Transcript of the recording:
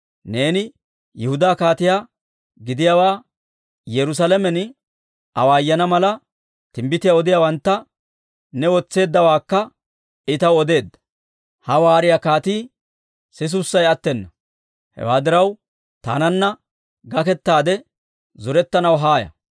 neeni Yihudaa kaatiyaa gidiyaawaa Yerusaalamen awaayana mala, timbbitiyaa odiyaawantta ne wotseeddawaakka I taw odeedda. Ha waariyaa kaatii sisusay attena. Hewaa diraw, taananna gakettaade zorettanaw haaya».